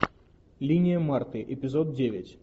линия марты эпизод девять